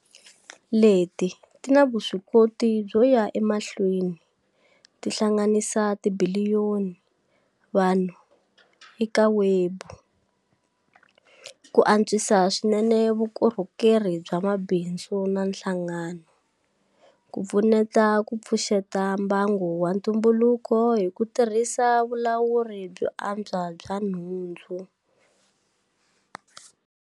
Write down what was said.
Leti ti na vuswikoti byo ya emahlweni ti hlanganisa tibiliyoni vanhu eka webu, ku antswisa swinene vukorhokeri bya mabindzu na nhlangano, ku pfuneta ku pfuxeta mbango wa ntumbuluko hi ku tirhisa vulawuri byo antswa bya nhundzu.